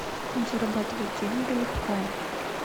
зарабатывать деньги легко